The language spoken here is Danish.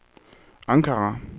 Ankara